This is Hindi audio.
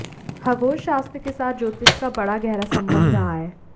खगोलशास्त्र के साथ ज्योतिष का बड़ा गहरा संबंध रहा है